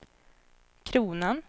kronan